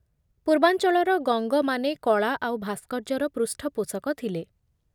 ପୂର୍ବାଞ୍ଚଳର ଗଙ୍ଗମାନେ କଳା ଆଉ ଭାସ୍କର୍ଯ୍ୟର ପୃଷ୍ଠପୋଷକ ଥିଲେ ।